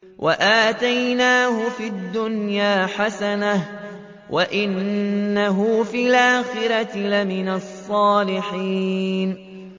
وَآتَيْنَاهُ فِي الدُّنْيَا حَسَنَةً ۖ وَإِنَّهُ فِي الْآخِرَةِ لَمِنَ الصَّالِحِينَ